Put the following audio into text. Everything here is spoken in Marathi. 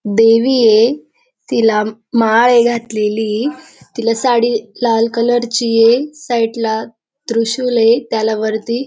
देवीये तिला माळए घातलेली. तिला साडी लाल कलर चीए साईड ला त्रिशुलए त्याला वरती --